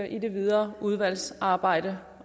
i det videre udvalgsarbejde